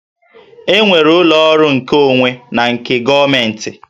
E nwere ụlọ ọrụ nkeonwe na nke gọọmentị